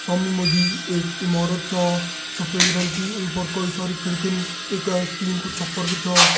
सामणी मजी एक इमारत छा सफ़ेद रंग की। ईं पर कई सारा खिड़किन। इका इस्टील को छप्पर बि छा।